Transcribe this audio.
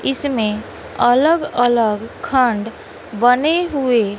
इसमें अलग अलग खंड बने हुए--